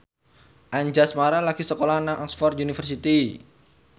Anjasmara lagi sekolah nang Oxford university